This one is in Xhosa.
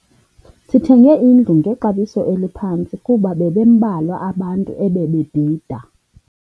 Sithenge indlu ngexabiso eliphantsi kuba bebembalwa abantu ebebebhida.